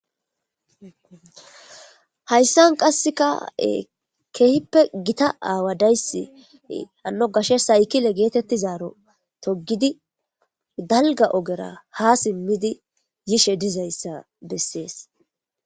Hayssan qasseka keehippe gita aawa dayssi hanno gashe saykile geetetti zaaro toggidi dalga ogera ha simmidi yishe dizayssa bessees.